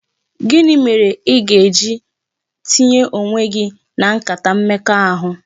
Gịnị mere I ga-eji tinye onwe gị na nkata mmekọahụ?